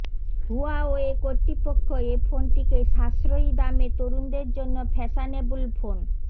Huawei কর্তৃপক্ষ এ ফোনটিকে সাশ্রয়ী দামে তরুণদের জন্য ফ্যাশনেবল ফোন